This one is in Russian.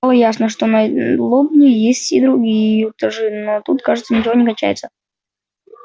стало ясно что над лобней есть ещё другие этажи что тут ничего не кончается